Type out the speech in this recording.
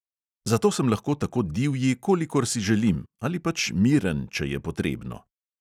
Zato sem lahko tako divji, kolikor si želim, ali pač miren, če je potrebno.